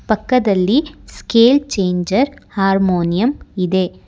ಪಕ್ಕದಲ್ಲಿ scale changer harmonium ಇದೆ.